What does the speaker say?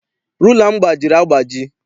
Rula m gbajiri agbaji.